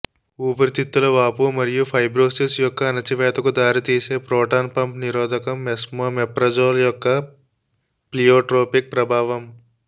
ఊపిరితిత్తుల వాపు మరియు ఫైబ్రోసిస్ యొక్క అణచివేతకు దారితీసే ప్రోటాన్ పంప్ నిరోధకం ఎస్మోమెప్రజోల్ యొక్క ప్లీయోట్రోపిక్ ప్రభావం